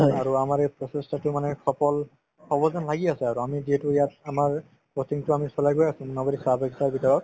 আৰু আমাৰ এই প্ৰচেষ্টাতো মানে সফল হ'ব যেন লাগি আছে আৰু আমি যিহেতু ইয়াত আমাৰ coaching তো আমি চলাই গৈ আছো মোনাবাৰী চাহ বাগিচাৰ ভিতৰত